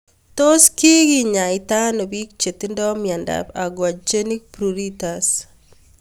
Tos kikenyaita ano pik che tinye miondop aquagenic pruritus